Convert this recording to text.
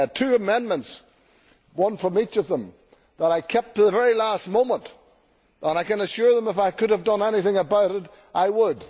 I had two amendments one from each of them that I kept to the very last moment, and I can assure them that if I could have done anything about it I would.